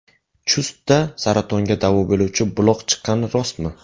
Chustda saratonga davo bo‘luvchi buloq chiqqani rostmi?